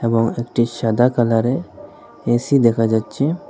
এবং একটি সাদা কালারে এ_সি দেখা যাচ্ছে।